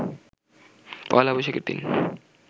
পহেলা বৈশাখের দিন